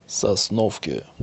сосновке